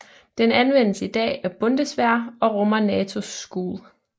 Den anvendes i dag af Bundeswehr og rummer NATO School